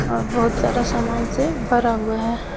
और बहोत सारा सामान से भरा हुआ है।